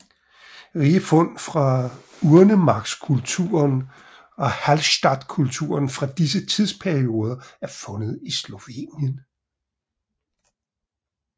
Rige fund fra urnemarkskulturen og Hallstattkulturen fra disse tidsperioder er fundet i Slovenien